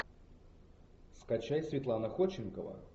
скачай светлана ходченкова